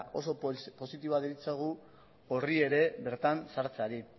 oso positiboa deritzogu hori ere bertan sartzeari